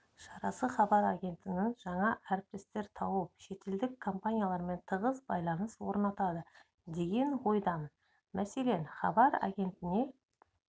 шарасы хабар агенттігінің жаңа әріптестер тауып шетелдік компаниялармен тығыз байланыс орнатады деген ойдамын мәселен хабар агентіне